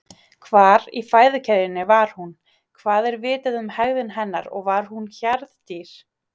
Hvar í fæðukeðjunni var hún, hvað er vitað um hegðun hennar og var hún hjarðdýr?